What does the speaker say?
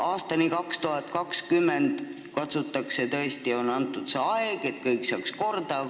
Aastani 2020 on tõesti antud see aeg, et kõik saaks korda.